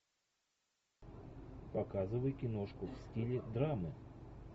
показывай киношку в стиле драмы